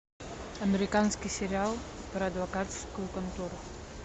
американский сериал про адвокатскую контору